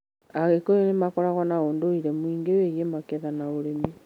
Agĩkũyũ nĩ makoragwo na ũndũire mũingĩ wĩgiĩ magetha na ũrĩmi.